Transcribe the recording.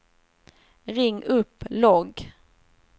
ring upp logg